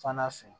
Fana fɛ